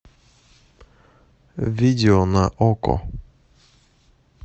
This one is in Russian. видео на окко